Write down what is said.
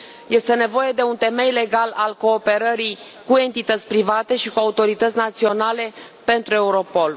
Este nevoie de un temei legal al cooperării cu entități private și cu autorități naționale pentru Europol.